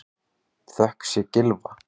Þökk sé Gylfa